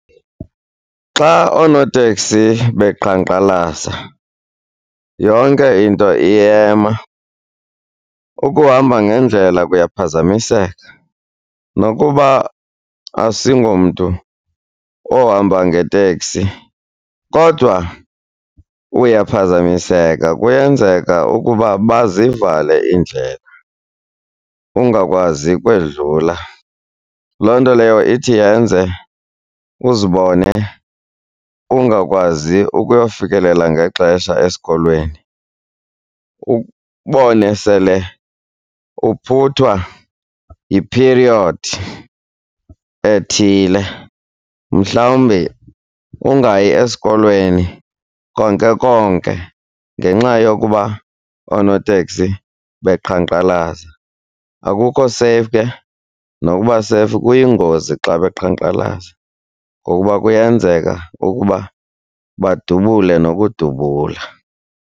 Xa oonoteksi beqhankqalaza yonke into iyema. Ukuhamba ngendlela kuyaphazamiseka, nokuba asingomntu ohamba ngeteksi kodwa uyaphazamiseka, kuyenzeka ukuba bazivale iindlela ungakwazi ukwedlula. Loo nto leyo ithi yenze uzibone ungakwazi ukuyofikelela ngexesha esikolweni, sele uphuthwa yiphiriyodi ethile, mhlawumbi ungayi esikolweni konke konke ngenxa yokuba oonoteksi beqhankqalaza. Akukho safe ke nokuba safe, kuyingozi xa beqhankqalaza ngokuba kuyenzeka ukuba badubule nokudubula.